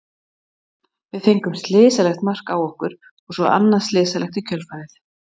Við fengum slysalegt mark á okkur og svo annað slysalegt í kjölfarið.